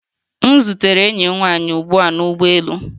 M zutere enyi m nwanyị ugbu a na ụgbọ elu